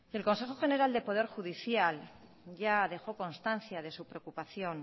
el consejo general del poder judicial ya dejó constancia de su preocupación